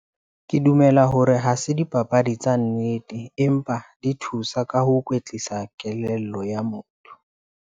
Ke dumela hore ha se dipapadi tsa nnete empa, di thusa ka ho kwetlisa kelello ya motho.